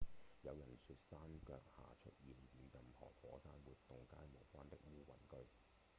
有人說山腳下出現與任何火山活動皆無關的烏雲據